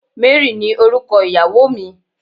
Mary ni orúkọ ìyàwó mi